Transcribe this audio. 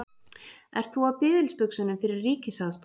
Ert þú á biðilsbuxunum fyrir ríkisaðstoð?